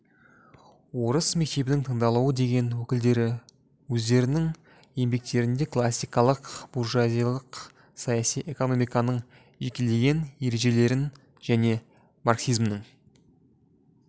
орыстың мектебінің таңдаулы деген өкілдері өздерінің еңбектерінде классикалық буржуазиялық саяси экономиканың жекелеген ережелерін және марксизмнің